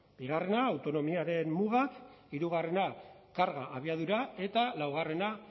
bigarrena autonomiaren muga hirugarrena karga abiadura eta laugarrena